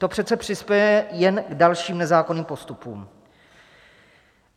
To přece přispěje jen k dalším nezákonným postupům.